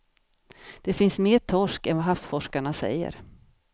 Där finns mer torsk än vad havsforskarna säger.